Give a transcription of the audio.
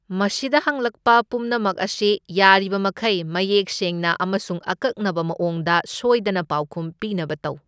ꯃꯁꯤꯗ ꯍꯪꯂꯛꯄ ꯄꯨꯝꯅꯃꯛ ꯑꯁꯤ ꯌꯥꯔꯤꯕꯃꯈꯩ ꯃꯌꯦꯛ ꯁꯦꯡꯅ ꯑꯃꯁꯨꯡ ꯑꯀꯛꯅꯕ ꯃꯑꯣꯡꯗ ꯁꯣꯏꯗꯅ ꯄꯥꯎꯈꯨꯝ ꯄꯤꯅꯕ ꯇꯧ꯫